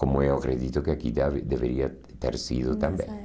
Como eu acredito que aqui deve deveria ter sido também.